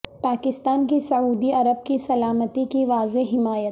پاکستان کی سعودی عرب کی سلامتی کی واضح حمایت